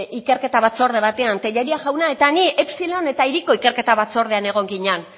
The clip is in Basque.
ikerketa batzorde batean tellería jaunak eta nik epsilon eta hiriko ikerketa batzordean egon ginan